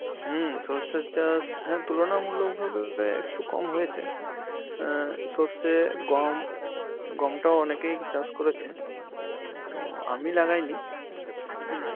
হম সরষের চাষ হ্যাঁ তুলনামূলক ভাবে একটু কম হয়েছে, অ্যাঁ সরষে, গম. গমটাও অনেকেই চাষ করেছে, তো আমি লাগাইনি.